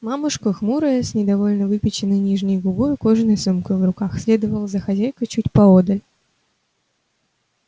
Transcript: мамушка хмурая с недовольно выпяченной нижней губой и кожаной сумкой в руках следовала за хозяйкой чуть поодаль